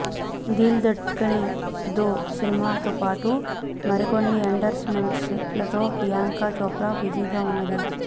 దిల్ దడ్కనే ధో సినిమాతో పాటు మరికొన్ని ఎండర్స్ మెంట్స్ లతో ప్రియాంక చోప్రా బిజీగా ఉన్నది